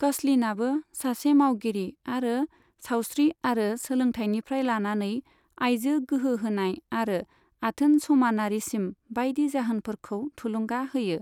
कचलिनआबो सासे मावगिरि आरो सावस्रि आरो सोलोंथायनिफ्राय लानानै आयजो गोहोहोनाय आरो आथोन समानारिसिम बायदि जाहोनफोरखौ थुलुंगा होयो।